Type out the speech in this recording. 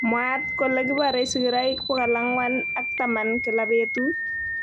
Mwaat kole kiporee sigiroik 410 kila petut